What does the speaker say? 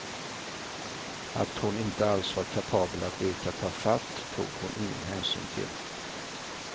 Att hon inte alls var kapabel att leka tafatt tog hon ingen hänsyn till.